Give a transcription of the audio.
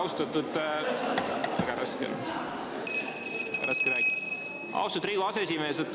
Austatud Riigikogu aseesimees!